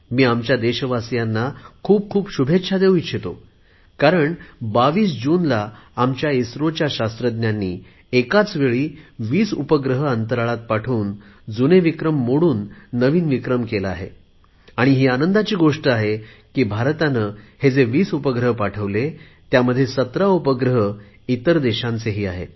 मी आमच्या देशवासीयांना खूप खूप शुभेच्छा देऊ इच्छितो कारण 22 जूनला आमच्या इस्रोच्या शास्त्रज्ञांनी एकावेळी 20 उपग्रह अंतराळात पाठवून आपलाच जुना विक्रम मोडून नवीन विक्रम केला आहे आणि ही आनंदाची गोष्टी आहे की भारताने हे जे वीस उपग्रह पाठवले त्यामध्ये 17 उपग्रह इतर देशांचे आहेत